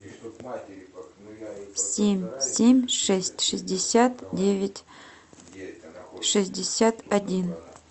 семь семь шесть шестьдесят девять шестьдесят один